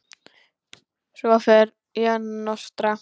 Svo fer ég að nostra.